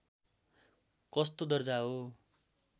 कस्तो दर्जा हो